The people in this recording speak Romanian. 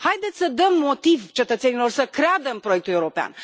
Haideți să dăm motiv cetățenilor să creadă în proiectul european.